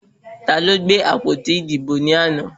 Taló gbé àpótí ìbò ní àná?